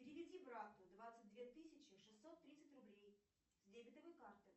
переведи брату двадцать две тысячи шестьсот тридцать рублей с дебетовой карты